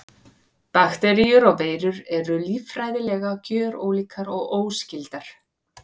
Bakteríur og veirur eru líffræðilega gjörólíkar og óskyldar.